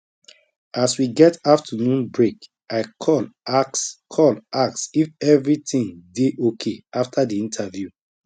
as we get afternoon break i call ask call ask if everything dey okay after the interview